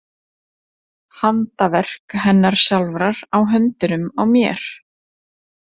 Handaverk hennar sjálfrar á höndunum á mér!